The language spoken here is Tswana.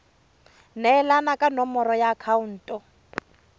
neelana ka nomoro ya akhaonto